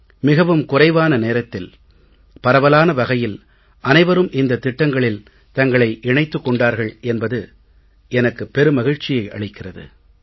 மிகவும் குறைவான நேரத்தில் பரவலான வகையில் அனைவரும் இந்தத் திட்டங்களில் தங்களை இணைத்துக் கொண்டார்கள் என்பது எனக்கு பெரு மகிழ்ச்சியை அளிக்கிறது